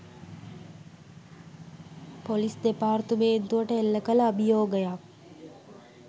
police දෙපාර්තමේන්තුවට එල්ලකල අභියෝගයක්